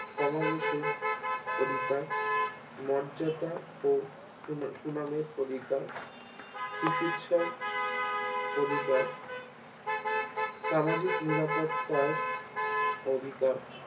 সমাবেশের অধিকার মর্যাদা ও সুনামের সুনামের অধিকার চিকিৎসার অধিকার সামাজিক নিরাপত্তার অধিকার